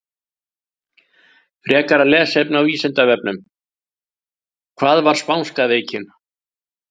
Frekara lesefni á Vísindavefnum: Hvað var spánska veikin?